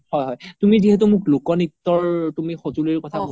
হয় তুমি যিহেতু মোক লোক নিত্যৰ তুমি স্জোলিৰ কথা